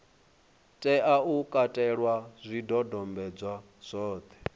tea u katela zwidodombedzwa zwothe